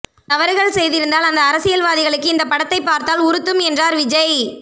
தவறுகள் செய்திருந்தால் அந்த அரசியல்வாதிகளுக்கு இந்த படத்தை பார்த்தால் உறுத்தும் என்றார் விஜய்